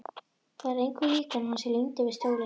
Það er engu líkara en hann sé límdur við stólinn.